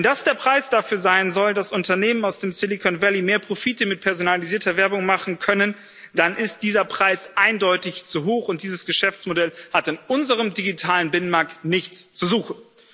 Wenn das der Preis dafür sein soll, dass Unternehmen aus dem Silicon Valley mehr Profite mit personalisierter Werbung machen können, dann ist dieser Preis eindeutig zu hoch, und dieses Geschäftsmodell hat in unserem digitalen Binnenmarkt nichts zu suchen.